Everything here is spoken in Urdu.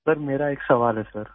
سر، میرا ایک سوال ہے سر